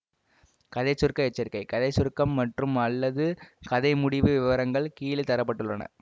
கதை சுருக்க எச்சரிக்கை கதை சுருக்கம் மற்றும் அல்லது கதை முடிவு விவரங்கள் கீழே தர பட்டுள்ளன